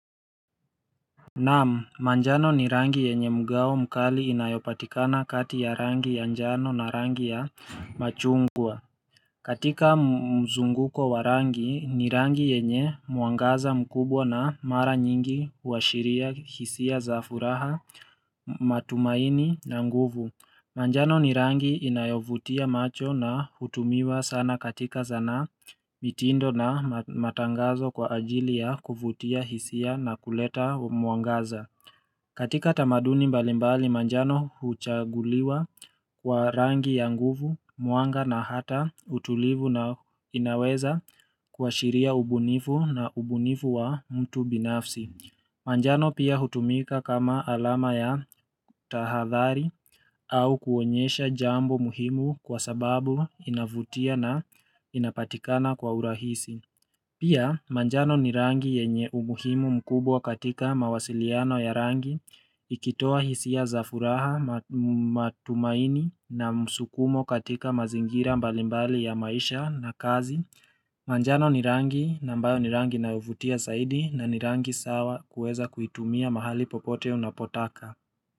Naam manjano ni rangi yenye mgao mkali inayopatikana kati ya rangi ya njano na rangi ya machungwa katika mzunguko wa rangi ni rangi yenye mwangaza mkubwa na mara nyingi uashiria hisia za furaha matumaini na nguvu manjano ni rangi inayovutia macho na hutumiwa sana katika sanaa, mitindo na matangazo kwa ajili ya kuvutia hisia na kuleta mwangaza katika tamaduni mbalimbali manjano huchaguliwa kwa rangi ya nguvu mwanga na hata utulivu na inaweza kuashiria ubunifu na ubunifu wa mtu binafsi manjano pia hutumika kama alama ya tahadhari au kuonyesha jambo muhimu kwa sababu inavutia na inapatikana kwa urahisi. Pia manjano ni rangi yenye umuhimu mkubwa katika mawasiliano ya rangi ikitoa hisia za furaha matumaini na msukumo katika mazingira mbalimbali ya maisha na kazi. Manjano ni rangi nambayo ni rangi inayovutia zaidi na ni rangi sawa kuweza kuitumia mahali popote unapotaka.